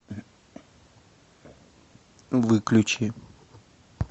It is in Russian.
выключи